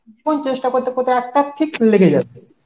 তখন চেষ্টা করতে করতে একটা ঠিক লেগে যাবে.